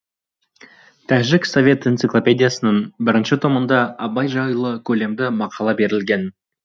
тәжік совет энциклопедиясының бірінші томында абай жайлы көлемді мақала берілген